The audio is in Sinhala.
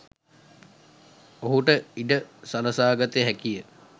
ඔහුට ඉඩ සළසාගත හැකි ය.